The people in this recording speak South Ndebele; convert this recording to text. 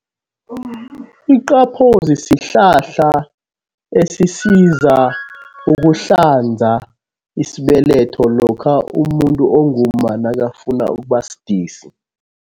Iqaphozi sihlahla esisiza ukuhlanza isibeletho lokha umuntu ongumma nakafuna ukuba sidisi.